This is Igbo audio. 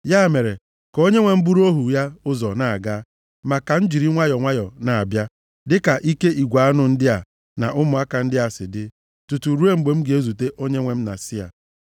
Ya mere, ka onyenwe m buru ohu ya ụzọ na-aga, ma ka m jiri nwayọọ nwayọọ na-abịa, dịka ike igwe anụ ndị a na ụmụaka ndị a si dị. Tutu ruo mgbe m ga-ezute onyenwe m na Sia.”